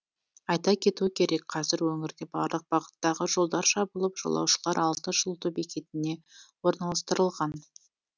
айта кету керек қазір өңірде барлық бағыттағы жолдар жабылып жолаушылар алты жылыту бекетіне орналастырылған